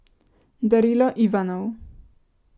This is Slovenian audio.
Darilo Ivanov.